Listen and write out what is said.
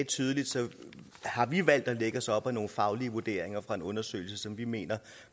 tydeligt sagde har vi valgt at lægge os op af nogle faglige vurderinger fra en undersøgelse som vi mener